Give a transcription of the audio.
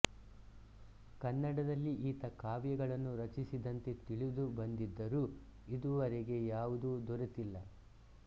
ಕನ್ನಡದಲ್ಲಿ ಈತ ಕಾವ್ಯಗಳನ್ನು ರಚಿಸಿದಂತೆ ತಿಳಿದು ಬಂದಿದ್ದರೂ ಇದುವರೆಗೆ ಯಾವುದೂ ದೊರಿತಿಲ್ಲ